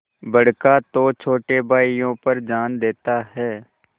बड़का तो छोटे भाइयों पर जान देता हैं